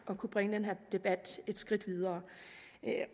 at kunne bringe den her debat et skridt videre